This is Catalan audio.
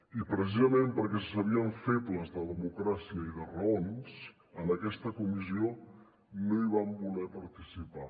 i precisament perquè se sabien febles de democràcia i de raons en aquesta comissió no hi van voler participar